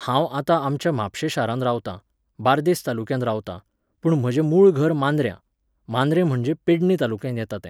हांव आतां आमच्या म्हापशें शारांत रावतां, बार्देस तालुक्यांत रावतां, पूण म्हजें मूळ घर मांद्र्यां, मांद्रें म्हणजें पेडणे तालुक्यांत येता तें